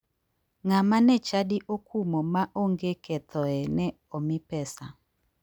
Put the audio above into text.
Ng'ama ne chadi okumo ma onge kethoe ne omi pesa.